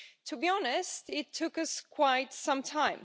To be honest, it took us quite some time.